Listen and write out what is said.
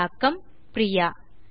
தமிழாக்கம் பிரியா